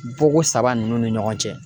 Bɔko saba ninnu ni ɲɔgɔn cɛ